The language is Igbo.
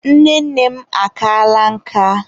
Nne nne m akaala nka.